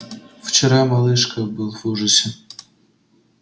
вчера малышка был в ужасе